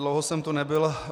Dlouho jsem tu nebyl.